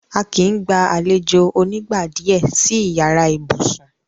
À kí í gbà alẹ̀jọ onígnàdíé sì ìyàrá ìbùṣún.